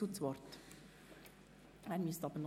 Es gibt einen Abänderungsantrag der FiKo-Mehrheit.